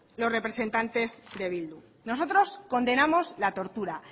los representantes de bildu nosotros condenamos la tortura